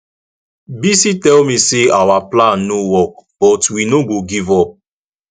bisi tell me say our plan no work but we no go give up